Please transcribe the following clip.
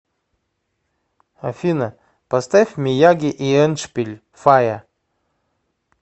афина поставь мияги и эндшпиль фая